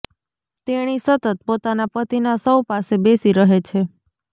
તેણી સતત પોતાના પતિના શવ પાસે બેસી રહે છે